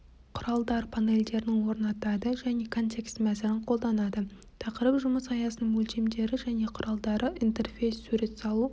құралдар панелдерін орнатады және контекст мәзірін қолданады тақырып жұмыс аясының өлшемдері және құралдары интерфейс сурет салу